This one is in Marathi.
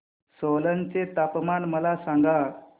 सोलन चे तापमान मला सांगा